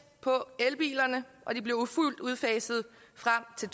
på elbilerne og de bliver fuldt udfaset frem til